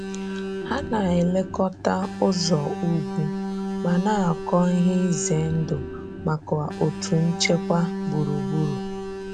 Hà na-elekọta ụzọ̀ ugwu ma na-akọ ihe izè ndụ̀ maka òtù nchekwà gburugburù.